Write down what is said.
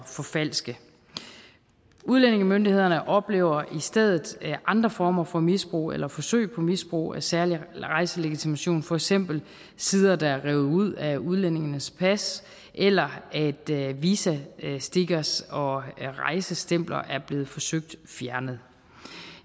forfalske udlændingemyndighederne oplever i stedet andre former for misbrug eller forsøg på misbrug af særlig rejselegitimation for eksempel sider der er revet ud af udlændingenes pas eller at visastickers og rejsestempler er blevet forsøgt fjernet